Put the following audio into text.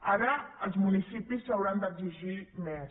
ara els municipis s’hauran d’exigir més